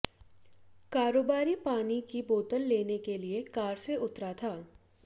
कारोबारी पानी की बोतल लेने के लिए कार से उतरा था